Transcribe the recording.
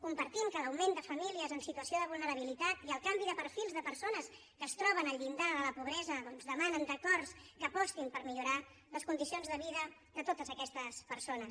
compartim que l’augment de famílies en situació de vulnerabilitat i el canvi de perfils de persones que es troben al llindar de la pobresa doncs demanen acords que apostin per millorar les condicions de vida de totes aquestes persones